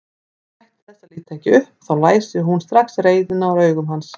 Hann gætti þess að líta ekki upp, þá læsi hún strax reiðina úr augum hans.